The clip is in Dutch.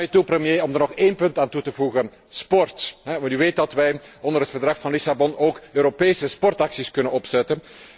Sta mij toe, premier, om er nog één punt aan toe te voegen sport, want u weet dat wij onder het Verdrag van Lissabon ook Europese sportacties kunnen opzetten.